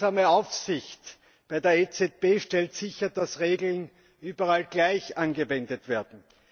Die gemeinsame Aufsicht bei der EZB stellt sicher, dass Regeln überall gleich angewendet werden.